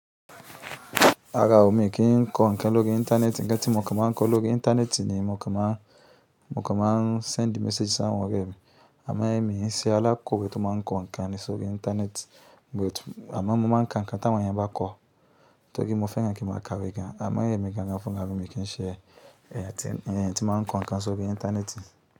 Rárá o, mi kì í n kọ ǹkan lórí Íńtánẹ́ẹ̀tì. Ǹkan tí mo kàn máa ń kọ lórí Íńtánẹ́ẹ̀tì ni mo kàn máa ń, mo kàn máa ń send message sáwọn ọ̀rẹ́ mi. Àmá ẹ́, èmi n ṣe alákọ̀wé tó máa ń kọ ǹkan ní orí Íńtánẹ́ẹ̀tì, but àmá mo máa ń ka ǹkan táwọn èèyàn bá kọ. Torí mo fẹ́ràn kí mo ka ìwé gan. Àmá èmi gan an fún gan mi kì í ṣe ẹ̀yàn tí, ẹ̀yàn tí máa ń kọ ǹkan sórí Íńtánẹ́ẹ̀tì.